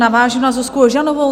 Navážu na Zuzku Ožanovou.